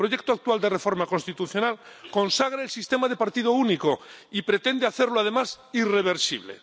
El proyecto actual de reforma constitucional consagra el sistema de partido único y pretende hacerlo, además, irreversible.